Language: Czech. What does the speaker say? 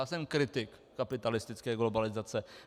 Já jsem kritik kapitalistické globalizace.